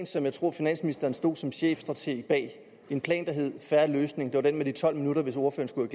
som jeg tror finansministeren stod bag som chefstrateg en plan der hed en fair løsning det var den med de tolv minutter hvis ordføreren